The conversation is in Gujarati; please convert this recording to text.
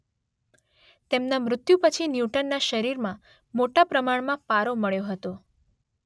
તેમના મૃત્યુ પછી ન્યૂટનના શરીરમાં મોટા પ્રમાણમાં પારો મળ્યો હતો